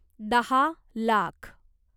दहा लाख